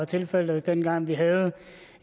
tilfældet dengang vi havde